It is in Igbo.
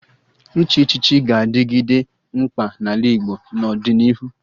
Ịchị echichi ga-adịgide mkpa n'ala Igbo n'ọdịnihu